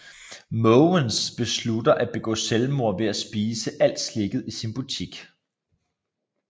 Måvens beslutter at begå selvmord ved at spise alt slikket i sin butik